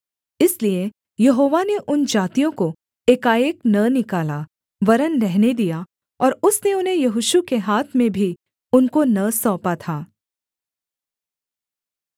इसलिए यहोवा ने उन जातियों को एकाएक न निकाला वरन् रहने दिया और उसने उन्हें यहोशू के हाथ में भी उनको न सौंपा था